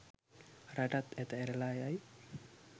රටත් ඇත ඇරලා යයි.